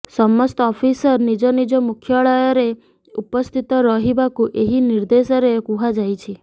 ସମସ୍ତ ଅଫିସର ନିଜ ନିଜ ମୁଖ୍ୟାଳୟରେ ଉପସ୍ଥିତ ରହିବାକୁ ଏହି ନିର୍ଦ୍ଦେଶରେ କୁହାଯାଇଛି